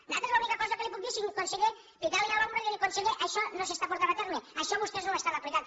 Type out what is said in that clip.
nosaltres l’única cosa que li puc dir senyor conseller picar li a l’espatlla i dir li conseller això no s’està portant a terme això vostès no ho estan aplicant